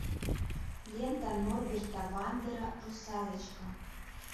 лента норберта вандера русалочка